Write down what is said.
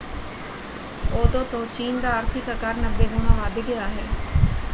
ਉਦੋਂ ਤੋਂ ਚੀਨ ਦਾ ਆਰਥਿਕ ਆਕਾਰ 90 ਗੁਣਾ ਵੱਧ ਗਿਆ ਹੈ।